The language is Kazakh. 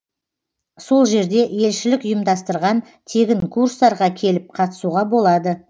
сол жерде елшілік ұйымдастырған тегін курстарға келіп қатысуға болады